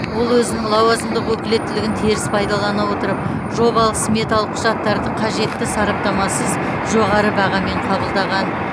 ол өзінің лауазымдық өкілеттілігін теріс пайдалана отырып жобалық сметалық құжаттарды қажетті сараптамасыз жоғары бағамен қабылдаған